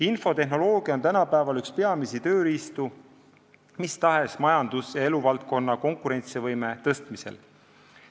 Infotehnoloogia on tänapäeval üks peamisi tööriistu mis tahes majandus- ja eluvaldkonna konkurentsivõime suurendamisel.